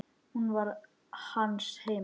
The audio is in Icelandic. Hún var hans heima.